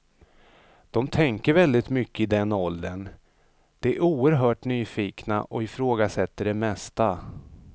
De tänker väldigt mycket i den åldern, de är oerhört nyfikna och ifrågasätter det mesta.